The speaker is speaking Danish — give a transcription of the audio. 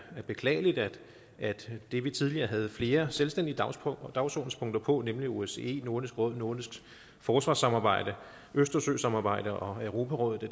beklageligt at det vi tidligere havde flere selvstændige dagsordenspunkter på nemlig osce nordisk råd nordisk forsvarssamarbejde østersøsamarbejdet og europarådet